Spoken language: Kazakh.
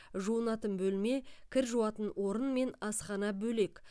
жуынатын бөлме кір жуатын орын мен асхана бөлек